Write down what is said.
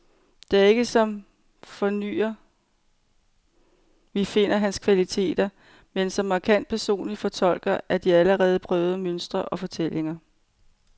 Det er ikke som fornyer, vi finder hans kvaliteter, men som markant personlig fortolker af de allerede prøvede mønstre og fortællinger.